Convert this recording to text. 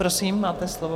Prosím, máte slovo.